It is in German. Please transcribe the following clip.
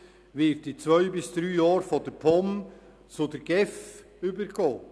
Die Zuständigkeit wird in zwei bis drei Jahren von der POM zur GEF übergehen.